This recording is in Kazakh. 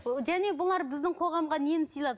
ы және бұлар біздің қоғамға нені сыйлады